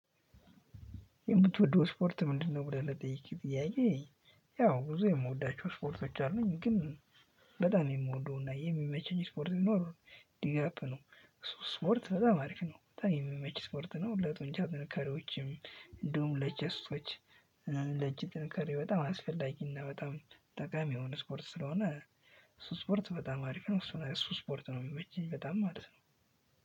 የምትወደው ስፖርት ምንድነው? ብለህ ለጠየከኝ ጥያቄ። ያው ብዙ የምወዳቸው ስፖርቶች አሉኝ ግን። በጣም የምወደው እና የሚመችኝ ስፖርት ሊኖር ዲግ አፕ ነው። እሱ ስፖርት በጣም አሪፍ ነው ብታይ የምመች ስፖርት ነው ለጡንቻ ጥንካሬዎችም እንዲሁም ለቸስቶች። ለእጅ ጥንካሬ በጣም አስፈላጊ እና በጣም ጠቃሚ የሆነ ስፖርት ስለሆነ። እሱ ስፖርት በጣም አሪፍ ነው እሱ ስፖርት ነው የሚመችኝ በጣም ማለት ነው።